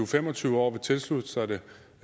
fem og tyve år vil tilslutte sig det